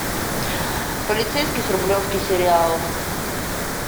полицейский с рублевки сериал